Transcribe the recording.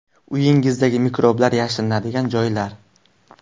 Uyingizdagi mikroblar yashirinadigan joylar.